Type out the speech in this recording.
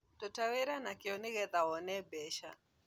Ruta wĩra na kĩo nĩgetha wone mbeca